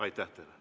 Aitäh teile!